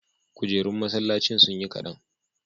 kujerun masallacin sunyi kadan